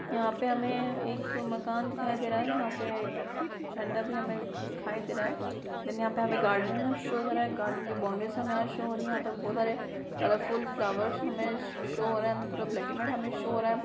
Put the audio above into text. यहाँ पे हमे एक मकान दिखाई दे रहा है जहां पे झंडा भी हमे दिखाई दे रहा है देन यहाँ पर हमे गार्डन शो कर रहा है। गार्डन की बाउंड्रीज हमे यहाँ शो हो रही है यहाँ पर बहुत सारे कलरफुल फ्लावर्स हमे शो हो रहे है एंड थोड़ा हमे ब्लैक एंड व्हाइट शो हो रहा है।